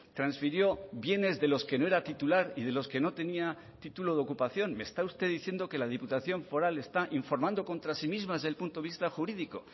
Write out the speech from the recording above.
transfirió bienes de los que no era titular y de los que no tenía título de ocupación me está usted diciendo que la diputación foral está informando contra sí misma desde el punto de vista jurídico